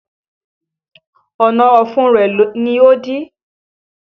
Ọ̀nà ọ̀fun rẹ ni ó dí